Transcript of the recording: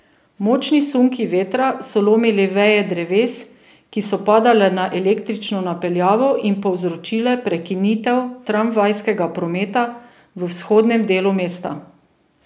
Močni sunki vetra so lomili veje dreves, ki so padale na električno napeljavo in povzročile prekinitev tramvajskega prometa v vzhodnem delu mesta.